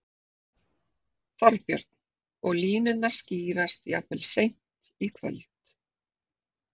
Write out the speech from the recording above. Þorbjörn: Og línurnar skýrast jafnvel seint í kvöld?